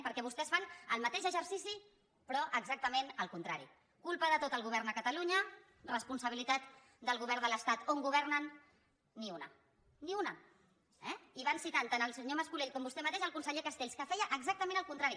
perquè vostès fan el mateix exercici però exactament el contrari culpa de tot al govern de catalunya responsabilitat del govern de l’estat on governen ni una ni una eh i van citant tant el senyor mas colell com vostè mateix el conseller castells que feia exactament el contrari